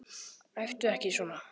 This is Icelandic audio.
Æptu ekki svona!